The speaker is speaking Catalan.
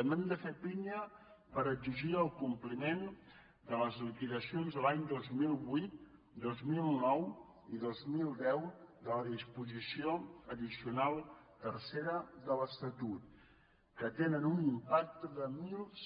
també hem de fer pinya per exigir el compliment de les liquidacions de l’any dos mil vuit dos mil nou i dos mil deu de la disposició addicional tercera de l’estatut que tenen un impacte de